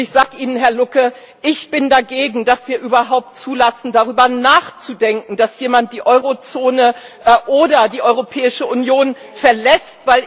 Ich sage Ihnen, Herr Lucke Ich bin dagegen, dass wir überhaupt zulassen, darüber nachzudenken, dass jemand die Eurozone oder die Europäische Union verlässt.